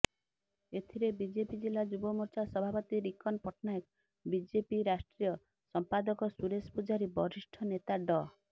ଏଥିରେ ବିଜେପି ଜିଲ୍ଲା ଯୁବମୋର୍ଚ୍ଚା ସଭାପତି ରିକନ ପଟ୍ଟନାୟକ ବିଜେପି ରାଷ୍ଟ୍ରିୟ ସଂପାଦକ ସୁରେଶ ପୂଝାରୀ ବରିଷ୍ଠ ନେତା ଡ